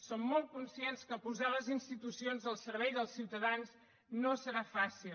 som molt conscients que posar les institucions al servei dels ciutadans no serà fàcil